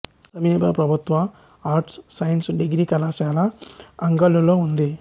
సమీప ప్రభుత్వ arts science degree కళాశాల అంగల్లులో ఉంది